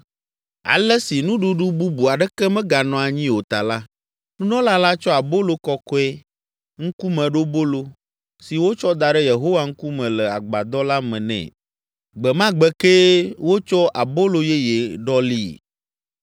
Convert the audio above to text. Ale, esi nuɖuɖu bubu aɖeke meganɔ anyi o ta la, nunɔla la tsɔ abolo kɔkɔe, Ŋkumeɖobolo, si wotsɔ da ɖe Yehowa ŋkume le agbadɔ la me nɛ. Gbe ma gbe kee wotsɔ abolo yeye ɖɔlii.